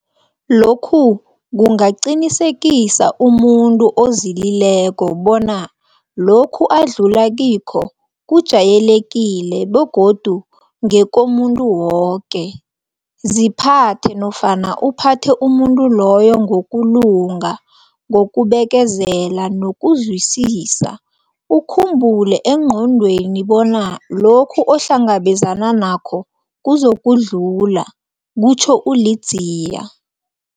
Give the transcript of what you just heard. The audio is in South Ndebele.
Lokhu kunga qinisekisa umuntu ozili leko bona lokhu adlula kikho kujayelekile begodu ngekomuntu woke. Ziphathe nofana uphathe umuntu loyo ngokulunga, ngokubekezela nokuzwisisa, ukhumbule engqondweni bona lokhu ohlangabezana nakho kuzokudlula, kutjho u-Ludziya.